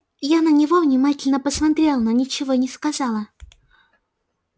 я на него внимательно посмотрела но ничего не сказала